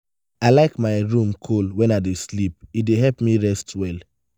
i like my room cool when i dey sleep; e dey help me rest well.